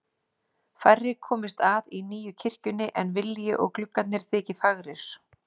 Færri komist að í nýju kirkjunni en vilji og gluggarnir þyki fagrir.